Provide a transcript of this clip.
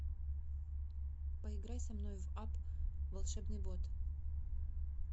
поиграй со мной в апп волшебный бот